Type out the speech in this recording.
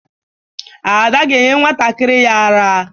Ada ga-enye nwantakịrị ya àrá.